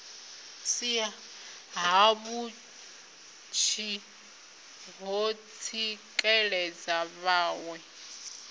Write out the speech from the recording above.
si havhuḓi ho tsikeledza vhaṋwe